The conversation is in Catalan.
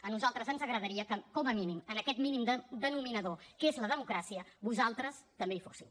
a nosaltres ens agradaria que com a mínim en aquest mínim denominador que és la democràcia vosaltres també hi fóssiu